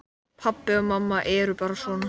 Pabbi og mamma eru bara svona.